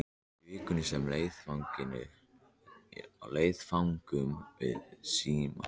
Í vikunni sem leið fengum við síma.